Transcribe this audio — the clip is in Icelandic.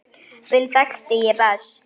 Bill þekkti ég best.